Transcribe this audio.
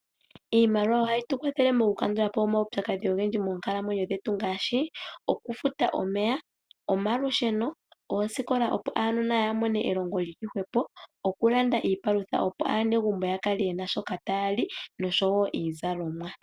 Iimaliwa ohayi tu kwathele mokukandula po omaupyakadhi ogendji moonkalamwenyo dhetu ngaashi oku futa omeya, omalusheno, oosikola opo aanona ya mome elongo lyili hwepo, oku landa iipalutha opo aanegumbo ya kale yena shoka taya li nosho woo iizalomwa.